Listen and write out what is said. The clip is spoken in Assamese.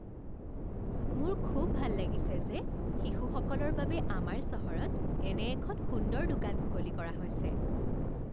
মোৰ খুব ভাল লাগিছে যে শিশুসকলৰ বাবে আমাৰ চহৰত এনে এখন সুন্দৰ দোকান মুকলি কৰা হৈছে।